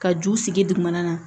Ka ju sigi dugumana na